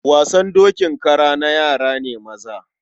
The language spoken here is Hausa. Wasan dokin kara na yara ne maza. Horse riding imitation is a male child play.